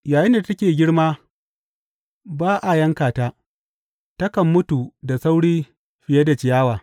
Yayinda take girma ba a yanka ta, takan mutu da sauri fiye da ciyawa.